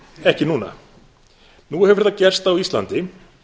ekki núna nú hefur það gerst á íslandi